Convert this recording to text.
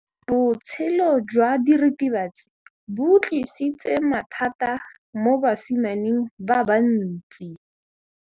Botshelo jwa diritibatsi ke bo tlisitse mathata mo basimaneng ba bantsi.